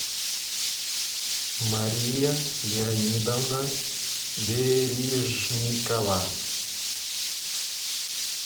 мария леонидовна верижникова